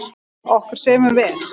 Okkur semur vel